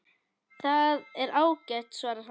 Það er ágætt svarar hann.